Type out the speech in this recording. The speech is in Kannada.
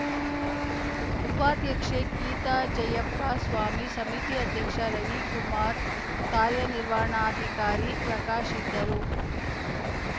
ಉಪಾಧ್ಯಕ್ಷೆ ಗೀತಾ ಜಯ್ಯಪ್ಪ ಸ್ಥಾಯಿ ಸಮಿತಿ ಅಧ್ಯಕ್ಷ ರವಿಕುಮಾರ್‌ ಕಾರ್ಯನಿರ್ವಾಣಾಧಿಕಾರಿ ಪ್ರಕಾಶ್‌ ಇದ್ದರು